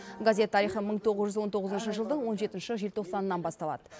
газет тарихы мың тоғыз жүз он тоғызыншы жылдың он жетінші желтоқсанынан басталады